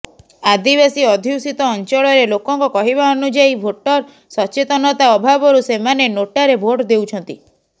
ଆଦିବାସୀ ଅଧ୍ୟୁଷିତ ଅଂଚଳରେ ଲୋକଙ୍କ କହିବା ଅନୁଯାୟୀ ଭୋଟର ସଚେତନତା ଅଭାବରୁ ସେମାନେ ନୋଟାରେ ଭୋଟ ଦେଉଛନ୍ତି